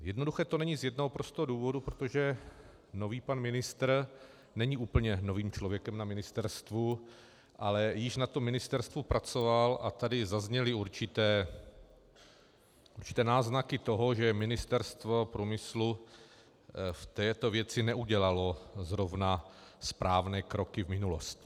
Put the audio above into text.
Jednoduché to není z jednoho prostého důvodu - protože nový pan ministr není úplně novým člověkem na ministerstvu, ale již na tom ministerstvu pracoval, a tady zazněly určité náznaky toho, že Ministerstvo průmyslu v této věci neudělalo zrovna správné kroky v minulosti.